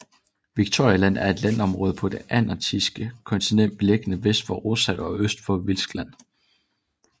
Victoria Land er et landområde på det antarktiske kontinent beliggende vest for Rosshavet og øst for Wilkes Land